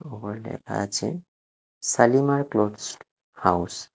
ওপরে লেখা আছে শালিমার ক্লোথস হাউস ।